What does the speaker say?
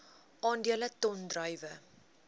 aandele ton druiwe